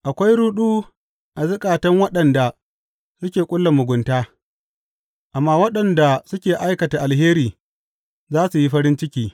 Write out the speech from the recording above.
Akwai ruɗu a zukatan waɗanda suke ƙulla mugunta, amma waɗanda suke aikata alheri za su yi farin ciki.